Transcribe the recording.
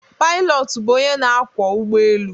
Pailọtụ bụ onye na akwọ ụgbọ elu.